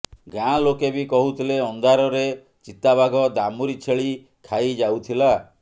ଗାଁ ଲୋକେ ବି କହୁଥିଲେ ଅନ୍ଧାରରେ ଚିତା ବାଘ ଦାମୁରି ଛେଳି ଖାଇ ଯାଉଥିଲା